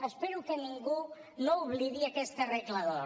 espero que ningú no oblidi aquesta regla d’or